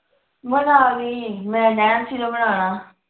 ਬਣਾ ਲੀ ਮੈਂ ਨੈਣਸੀ ਨੂੰ ਬਣਾਲਾ